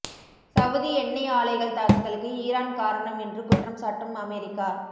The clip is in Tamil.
சவூதி எண்ணெய் ஆலைகள் தாக்குதலுக்கு ஈரான் காரணம் என்று குற்றம் சாட்டும் அமெரிக்கா